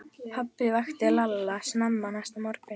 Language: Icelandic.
Pabbi vakti Lalla snemma næsta morgun.